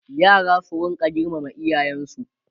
yara su rinka girmama iyayensu